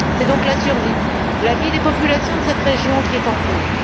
C'est donc la vie et la survie des populations de cette région qui sont en cause.